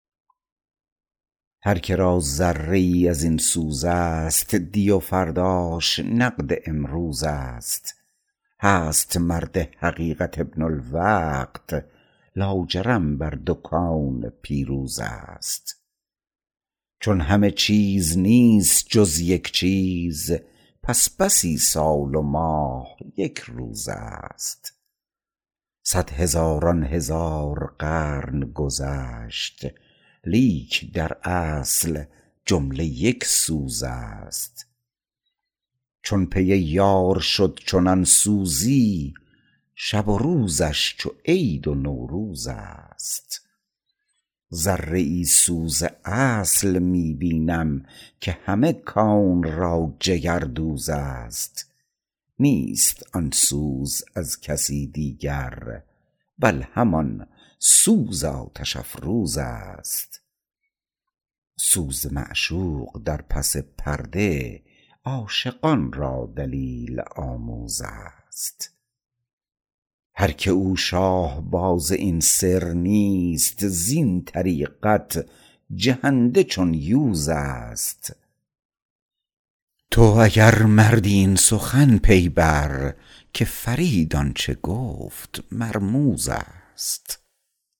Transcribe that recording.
هر که را ذره ای ازین سوز است دی و فرداش نقد امروز است هست مرد حقیقت ابن الوقت لاجرم بر دو کون پیروز است چون همه چیز نیست جز یک چیز پس بسی سال و ماه یک روز است صد هزاران هزار قرن گذشت لیک در اصل جمله یک سوز است چون پی یار شد چنان سوزی شب و روزش چو عید و نوروز است ذره ای سوز اصل می بینم که همه کون را جگر دوز است نیست آن سوز از کسی دیگر بل همان سوز آتش افروز است سوز معشوق در پس پرده عاشقان را دلیل آموز است هرکه او شاه باز این سر نیست زین طریقت جهنده چون یوز است تو اگر مردی این سخن پی بر که فرید آنچه گفت مرموز است